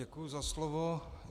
Děkuji za slovo.